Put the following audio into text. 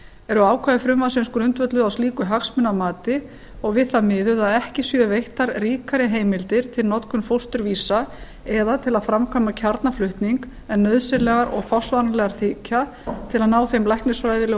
eru ákvæði frumvarpsins grundvölluð á slíku hagsmunamati og við það miðuð að ekki séu veittar ríkari heimildir til notkunar fósturvísa eða til að framkvæma kjarnaflutning en nauðsynlegar og forsvaranlegar þykja til að ná þeim læknisfræðilegu og